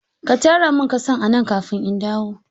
Ka tara min ƙasan a nan kafin in dawo.